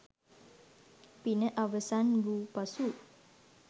පින අවසන් වූ පසු